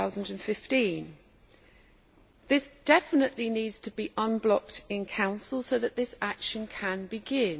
2015. This definitely needs to be unblocked in Council so that this action can begin.